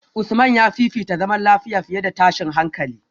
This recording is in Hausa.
Usman ya fifita zaman lafiya fiye da tashin hankali